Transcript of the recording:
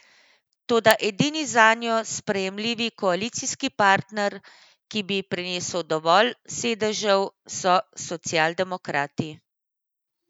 Toda edini zanjo sprejemljivi koalicijski partner, ki bi ji prinesel dovolj sedežev, so socialdemokrati.